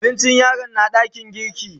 Abincin yaron na dakin girki.